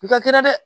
U ka kɛra dɛ